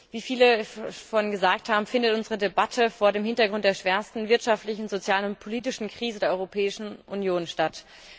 Wie viele schon gesagt haben, findet unsere Debatte vor dem Hintergrund der schwersten wirtschaftlichen, sozialen und politischen Krise der Europäischen Union statt.